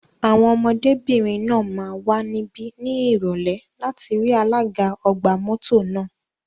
Àwọn ọmọdébìnrin náà máa wà níbí ní Ìrọ̀lẹ́ láti rí alága ọgbà mọ́tò náà.